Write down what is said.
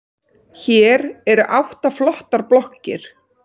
Hér eru átta flottar blokkir.